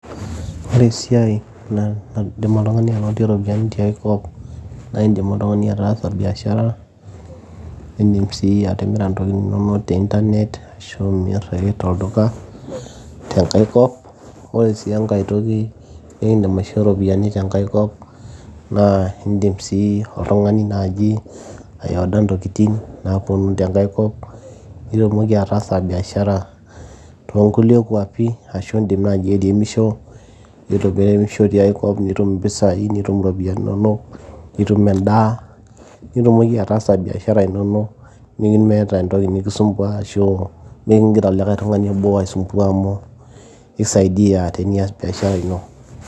Ore esiai naaidim oltung'ani anotie iropiyiani tiai kop iindim ake oltung'ami ataasa biashara arashu niindim sii atimira intokitin inonok te internet niindim ake sii atimira tolduka, tenkae kop ore sii enkae toki nikiindim aishoo iropiyiani tenkae kop naa iindim sii oltung'ani naaji ai order intokitin naaponu tenake kop nitumoki ataasa biashara tekulie kwapi ashu iindim naai airemisho nitum impisai, nitum iropiyiani inonok nitum endaa nitumoki ataasa imbiasharani inonok nemeeta entoki nikisumbuaa arashu nikigira likai tung'ani aibok aisumbuaa amu kisaidia teniaas biashara ino.